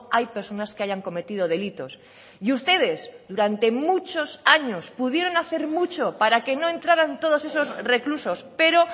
hay personas que hayan cometido delitos y ustedes durante muchos años pudieron hacer mucho para que no entraran todos esos reclusos pero